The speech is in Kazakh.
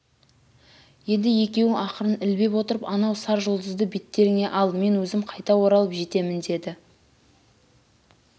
енді екеуің ақырын ілбеп отырып анау сар жұлдызды беттеріңе ал мен өзім қайта оралып жетемін деді